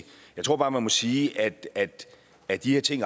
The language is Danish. jeg tror bare man må sige at at de her ting